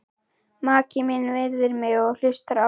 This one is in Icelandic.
Maki minn virðir mig og hlustar á mig.